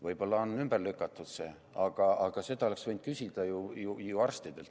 Võib-olla on see ümber lükatud, aga seda oleks võinud küsida ju arstidelt.